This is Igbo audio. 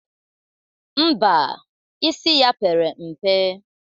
Ḿbà, isi ya pere mpe.